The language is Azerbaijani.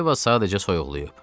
Yeva sadəcə soyuqlayıb.